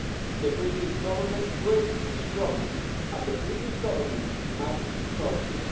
The British Government created this problem and the British Government must solve it.